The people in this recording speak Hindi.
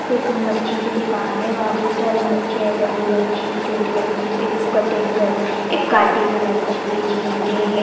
एक मच्छी की दुकान है वहाँ बहुत सारे मच्छी है बड़ी मच्छी छोटी मच्छी एक कटिंग करी एक काटी हुई मच्छी है झींगे है।